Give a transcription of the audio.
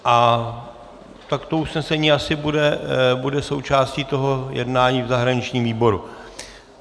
A tak to usnesení asi bude součástí toho jednání v zahraničním výboru.